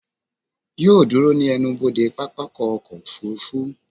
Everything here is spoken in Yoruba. Yóò ó dúró ní ẹnubodè pápákọ̀ ọkọ̀ òfurufú